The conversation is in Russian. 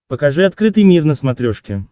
покажи открытый мир на смотрешке